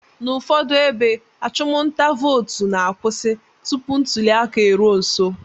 N'ụfọdụ ebe, achụmnta vootu na-akwụsị tupu ntụliaka eruo nso